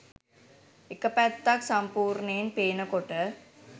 එක පැත්තක් සම්පූර්ණයෙන් පේන කොට